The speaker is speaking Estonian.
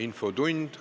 Infotund.